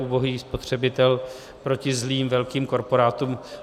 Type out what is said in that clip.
Ubohý spotřebitel proti zlým velkým korporátům.